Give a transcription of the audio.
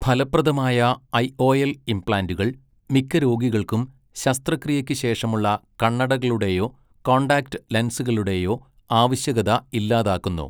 ഫലപ്രദമായ ഐഓഎൽ ഇംപ്ലാന്റുകൾ മിക്ക രോഗികൾക്കും ശസ്ത്രക്രിയയ്ക്ക് ശേഷമുള്ള കണ്ണടകളുടെയോ കോൺടാക്റ്റ് ലെൻസുകളുടെയോ ആവശ്യകത ഇല്ലാതാക്കുന്നു.